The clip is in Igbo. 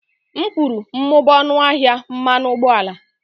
M kwuru, mụbaa ọnụ ahịa mmanụ ụgbọala